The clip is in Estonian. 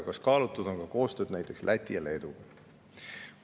Kas kaalutud on ka koostööd näiteks Läti ja Leeduga?